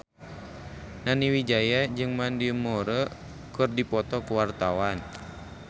Nani Wijaya jeung Mandy Moore keur dipoto ku wartawan